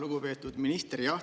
Lugupeetud minister!